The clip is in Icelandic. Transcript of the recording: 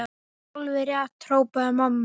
Já, alveg rétt hrópaði mamma.